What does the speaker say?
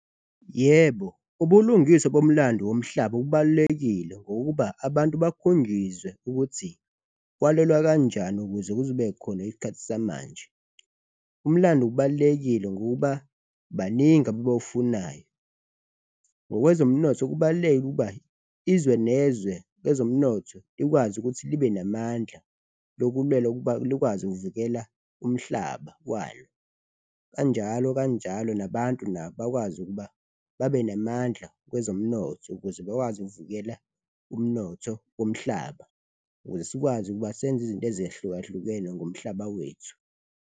Yebo, ubulungiswa bomlando womhlaba kubalulekile ngokuba abantu bakhungizwe ukuthi kwalwelwa kanjani ukuze kube khona isikhathi samanje, umlando ubalulekile ngokuba baningi abebawufunayo. Ngokwezomnotho, kubaluleke ukuba izwe nezwe kwezomnotho likwazi ukuthi libe namandla lokulwela ukuba likwazi ukuvikela umhlaba walo, kanjalo kanjalo nabantu nabo bakwazi ukuba babe namandla kwezomnotho ukuze bekwazi ukuvikela umnotho womhlaba ukuze sikwazi ukuba senze izinto ezehlukahlukene ngomhlaba wethu.